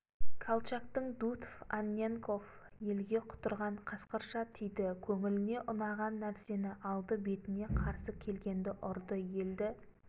колчактың дутов анненков елге құтырған қасқырша тиді көңіліне ұнаған нәрсені алды бетіне қарсы келгенді ұрды елді